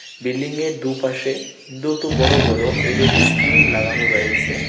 বিল্ডিংয়ের দু পাশে দুটো বড় বড় এল_ই_ডি স্ক্রিন লাগানো রয়েছে।